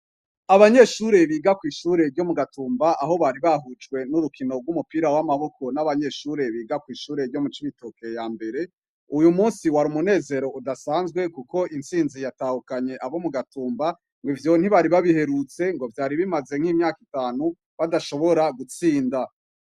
Abanyeshure biga kwishure ryo mu gatumba, aho bashujwe nurukino rwumupira wamaboko n abanyeshure biga kwishure ryo mu cibitoke yambere. Uyumunsi wari umunsi umunezero udasanzwe kuko itsinzi yatahukanye abo mu gatumba. Ivyo ntibari babiherutse ngo vyari bimaze imyaka itanu badashobora gutsinda.